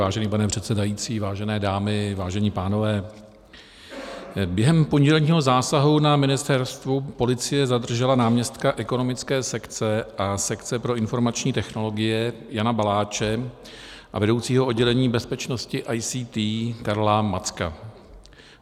Vážený pane předsedající, vážené dámy, vážení pánové, během pondělního zásahu na ministerstvu policie zadržela náměstka ekonomické sekce a sekce pro informační technologie Jana Baláče a vedoucího oddělení bezpečnosti ICT Karla Macka.